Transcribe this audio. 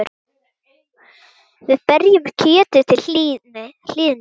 Við berjum kjötið til hlýðni.